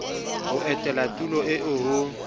ho etela tulo eo ho